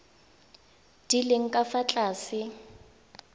di leng ka fa tlase